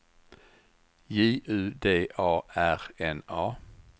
J U D A R N A